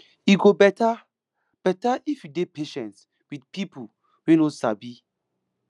e go better better if you dey patient with pipo wey no sabi